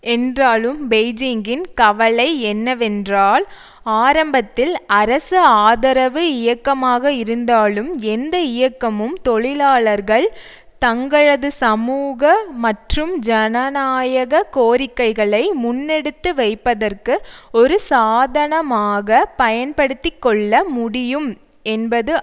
என்றாலும் பெய்ஜிங்கின் கவலை என்னவென்றால் ஆரம்பத்தில் அரசு ஆதரவு இயக்கமாக இருந்தாலும் எந்த இயக்கமும் தொழிலாளர்கள் தங்களது சமூக மற்றும் ஜனநாயக கோரிக்கைகளை முன்னெடுத்து வைப்பதற்கு ஒரு சாதனமாக பயன்படுத்தி கொள்ள முடியும் என்பதுதான்